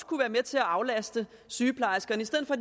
kunne være med til at aflaste sygeplejerskerne